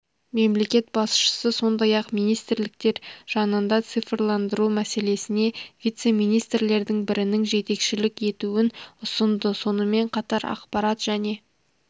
мемлекет басшысы сондай-ақ министрліктер жанында цифрландыру мәселесіне вице-министрлердің бірінің жетекшілік етуін ұсынды сонымен қатар ақпарат және